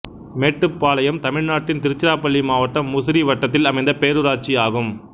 மேட்டுப்பாளயம் தமிழ்நாட்டின் திருச்சிராப்பள்ளி மாவட்டம் முசிறி வட்டத்தில் அமைந்த பேரூராட்சி ஆகும்